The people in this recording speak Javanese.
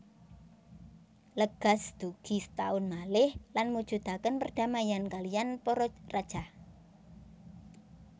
Legaz dugi setaun malih lan mujudaken perdamaian kaliyan para rajah